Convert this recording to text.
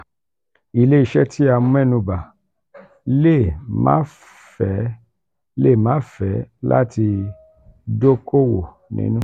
ile-iṣẹ ti a mẹnuba le maa fe le maa fe lati dokowo ninu...